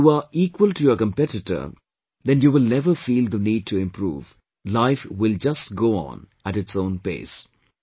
And if you are equal to your competitor, then you will never feel the need to improve, life will just go on at its own pace